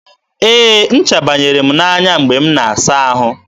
e, ncha banyere m n'anya mgbe m na-asa ahụ.